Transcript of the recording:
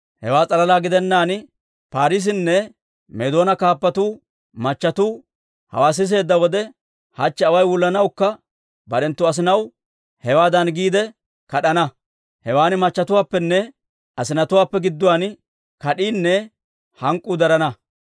Hewaa s'alalaa gidennaan, Paarisenne Meedoona kaappatuu machatuu hawaa siseedda wode, hachche away wullanawukka barenttu asinatuwaa hewaadan giide kad'ana. Hewan machchetuwaappenne asinatuwaappe gidduwaan kad'iinne hank'k'uu darana.